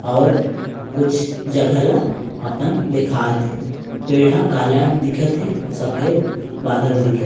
आऊर कुछ जगह ला अपन दिखात हे पेड़ ह काला दिखत हे आऊ सफेद बादल दिखत हे।